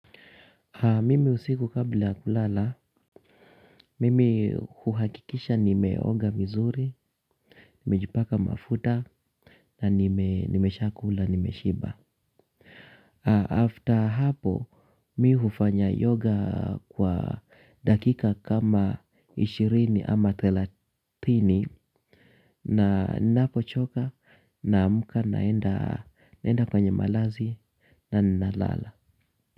Mimi usiku kabla kulala, mimi huhakikisha nimeoga vizuri, nimejipaka mafuta na nimeshakula, nimeshiba. After hapo, mimi hufanya yoga kwa dakika kama ishirini ama thelathini na napochoka naamka naenda kwenye malazi na ninalala.